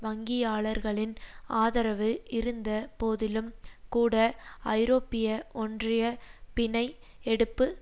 வங்கியாளர்களின் ஆதரவு இருந்த போதிலும் கூட ஐரோப்பிய ஒன்றிய பிணை எடுப்பு